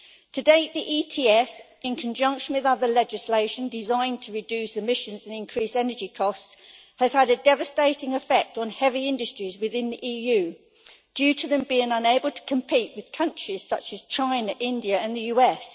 To date, the ETS, in conjunction with other legislation designed to reduce emissions and increase energy costs, has had a devastating effect on heavy industries within the EU, leaving them unable to compete with countries such as China, India and the USA.